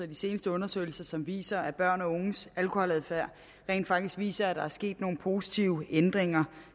de seneste undersøgelser som viser at børn og unges alkoholadfærd rent faktisk viser at der er sket nogle positive ændringer